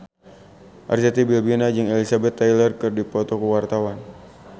Arzetti Bilbina jeung Elizabeth Taylor keur dipoto ku wartawan